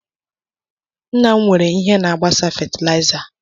Nna m nwere ihe na-agbasa fatịlaịza.